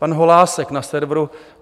Pan Holásek na serveru